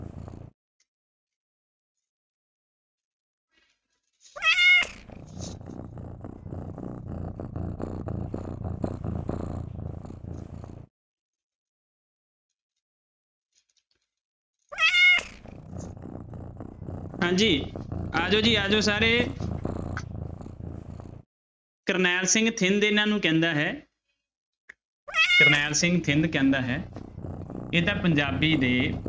ਹਾਂਜੀ ਆ ਜਾਓ ਜੀ ਆ ਜਾਓ ਸਾਰੇ ਕਰਨੈਲ ਸਿੰਘ ਥਿੰਦ ਇਹਨਾਂ ਨੂੰ ਕਹਿੰਦਾ ਹੈ ਕਰਨੈਲ ਸਿੰਘ ਥਿੰਦ ਕਹਿੰਦਾ ਹੈ ਇਹ ਤਾਂ ਪੰਜਾਬੀ ਦੇ